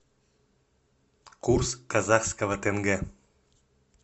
курс казахского тенге